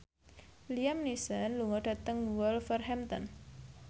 Liam Neeson lunga dhateng Wolverhampton